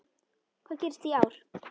Hvað gerist í ár?